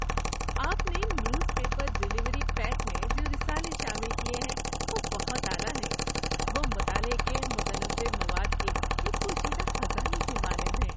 آپ نے newspaper delivery pack میں جو رسالے شامل کیے ہیں وہ بہت اعلیٰ ہیں۔ وہ مطالعہ کے متنوع مواد کے ایک پوشیدہ خزانے کی مانند ہیں۔